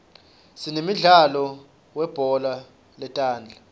sinemdlalo weubhola letandla